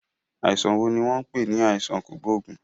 Àìsàn wo ni wọ́n ń pè ní àìsàn kògóògùn?